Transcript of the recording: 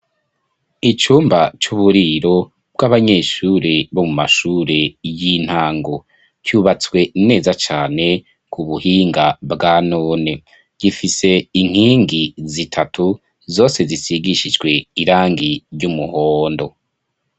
Icumba c'uburiro bw'abanyeshure bo mu mashure y'intango. Cubatswe neza cane ku buhinga bwa none .Gifise inkingi zitatu zose zisigishijwe irangi ry'umuhondo.